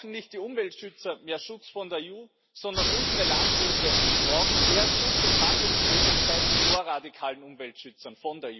Nicht die Umweltschützer brauchen mehr Schutz von der EU, sondern unsere Landwirte brauchen mehr Schutz und Handlungsmöglichkeiten von der EU gegenüber radikalen Umweltschützern.